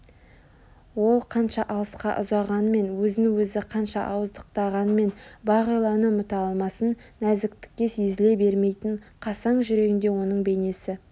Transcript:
ол қанша алысқа ұзағанмен өзін өзі қанша ауыздықтағанмен бағиланы ұмыта алмасын нәзіктікке езіле бермейтін қасаң жүрегінде оның бейнесі